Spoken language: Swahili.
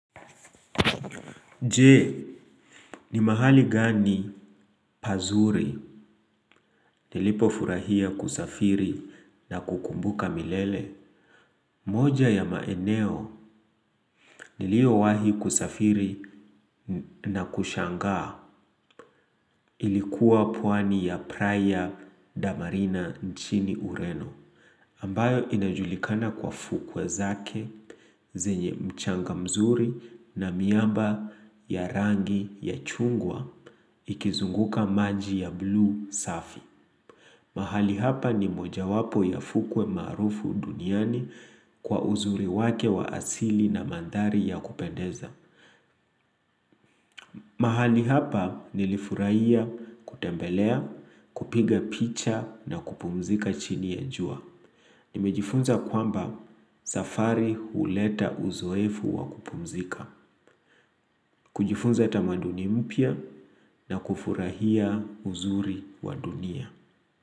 Je, ni mahali gani pazuri nilipo furahia kusafiri na kukumbuka milele? Moja ya maeneo niliowahi kusafiri na kushangaa ilikuwa pwani ya praia damarina nchini ureno. Ambayo inajulikana kwa fukwe zake, zenye mchanga mzuri na miamba ya rangi ya chungwa ikizunguka maji ya blue safi. Mahali hapa ni moja wapo ya fukwe maarufu duniani kwa uzuri wake wa asili na mandhari ya kupendeza. Mahali hapa nilifurahia kutembelea, kupiga picha na kupumzika chini ya jua. Nimejifunza kwamba safari huleta uzoefu wa kupumzika. Kujifunza tamaduni mpya na kufurahia uzuri wa dunia.